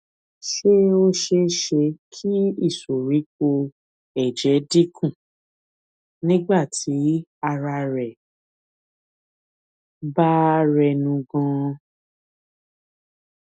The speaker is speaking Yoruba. ṣé ó ṣeé ṣe kí ìsoríkó èjè dín kù nígbà tí ara rẹ bá rẹnu ganan